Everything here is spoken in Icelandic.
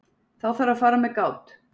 Þá þarf að fara með gát.